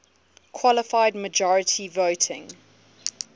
qualified majority voting